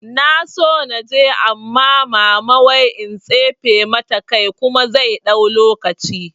Na so da naje amma mama wai in tsince mata kai kuma zai ɗau lokaci